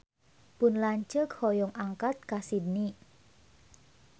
Pun lanceuk hoyong angkat ka Sydney